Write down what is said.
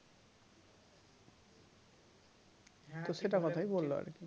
তো সেটা কথাই বললো আরকি